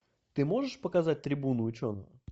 ты можешь показать трибуну ученого